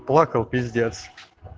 плакал пиздец